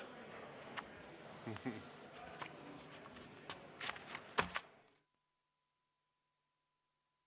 Istungi lõpp kell 15.43.